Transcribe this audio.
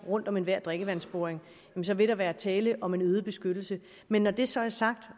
rundt om enhver drikkevandsboring så vil der være tale om en øget beskyttelse men når det så er sagt